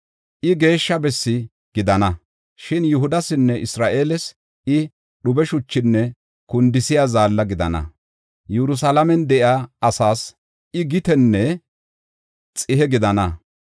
I, geeshsha bessi gidana; shin Yihudasinne Isra7eeles I, dhube shuchinne kundisiya zaalla gidana. Yerusalaamen de7iya asaas I gitenne xihe gidana.